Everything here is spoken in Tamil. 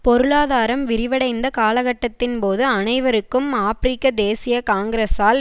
பொருளாதாரம் விரிவடைந்த காலகட்டத்தின்போது அனைவருக்கும் ஆபிரிக்க தேசிய காங்கிரஸால்